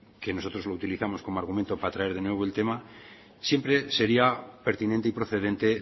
que nosotros lo utilizamos como argumento para traer de nuevo el tema siempre sería pertinente y procedente